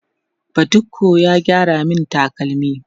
badiko ya gyara min takalmi